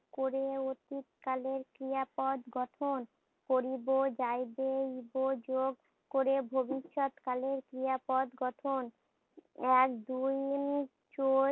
করে অতীত কালের ক্রিয়া পদ গঠন করিব, যাইব, ইব যোগ করে ভবিষ্যৎ কালের ক্রিয়া পদ গঠন। এক